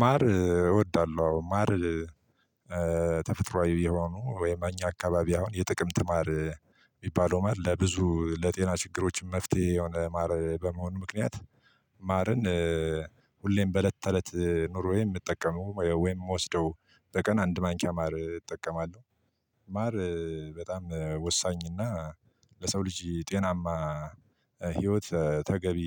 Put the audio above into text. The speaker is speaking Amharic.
ማር እወዳለሁ አዎ። ማር ተፈጥሮአዊ የሆኑ ወይም አኛ አካባቢ አሁን የጥቅምት ማር የሚባለው ማር ለብዙ ለጤና ችግሮችም መፍትሄ የሆነ ማር በመሆኑ ምክንያት ማርን ሁሌም በእለት ተእለት ኑሮዬ የምጠቀመው ወይም የምወስደው በቀን አንድ ማንኪያ ማር እጠቀማለሁ። ማር በጣም ወሳኝና ለሰው ልጅ ጤናማ ህይወት ተገቢ